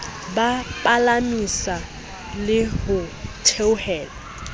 ba palamisa le ho theola